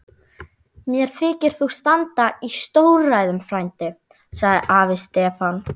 Mér þykir þú standa í stórræðum frændi, sagði afi Stefán.